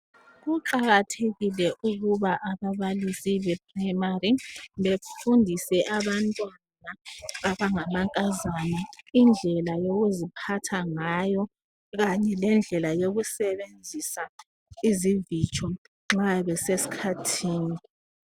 Kuqakathekile ukuba ababalisi be primary befundise abantwana abangamankazana indlela yokuziphatha ngayo kanye lendlela yokusebenzisa izivitsho nxa besesikhathini.